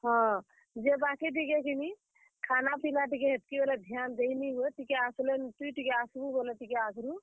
ହଁ, ଯେ ବାକି ଟିକେ କିନି, ଖାନା, ପିନା ଟିକେ ହେତ୍ କି ବେଲେ ଧ୍ୟାନ ଦେଇନି ହୁଏ। ଟିକେ ଆସ୍ ଲେ, ତୁଇ ଟିକେ ଆସ୍ ବୁ ବେଲେ କିନି ଟିକେ ଆଘରୁ।